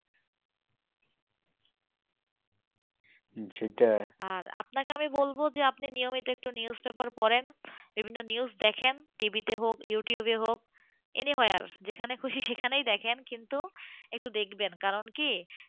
আর আপনাকে বলব যে আপনি প্রতিনিয়ত একটু newspaper পড়েনবিভিন্ন নিউজ দেখেন টিভিতে হোক ইউটিউবে হোক anywhere যেখানে খুশি সেখানে দেখেন কিন্তু একটু দেখবেন কারন কি?